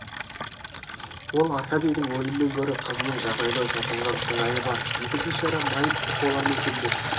ол аркадийдің өлімінен гөрі қызының жағдайынан шошынған сыңайы бар екі бишара майып болар ма екен деп